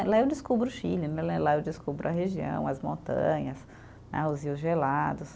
Lá eu descubro o Chile né, lá eu descubro a região, as montanhas né, os rios gelados.